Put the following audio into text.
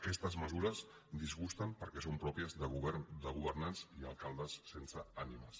aquestes mesures disgusten perquè són pròpies de governants i alcaldes sense ànimes